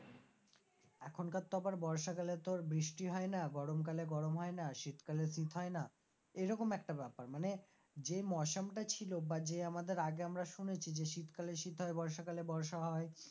এখনকার তো আবার বর্ষাকালে তোর বৃষ্টি হয় না, গরম কালে গরম হয় না শীতকালে শীত হয় না, এরকম একটা ব্যাপার মানে যে মৌসামটা ছিল বা যে আমাদের আগে আমরা শুনেছি যে শীতকালে শীত হয়ে বর্ষাকালে বর্ষা হয়,